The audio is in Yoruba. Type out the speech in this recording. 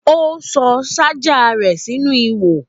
Ó sọ ṣájà rẹ sínú ihò